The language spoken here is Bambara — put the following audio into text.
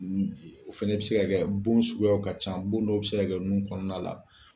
Nun ji ye. O fɛnɛ bɛ se ka kɛ bon suguyaw ka ca. Bon dɔw bɛ se ka kɛ nun kɔnɔna la.